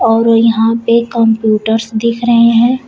और यहां पे कंप्यूटर्स दिख रहे हैं।